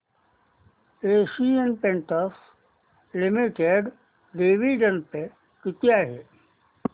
Asian Paints Limited dividend pay किती आहे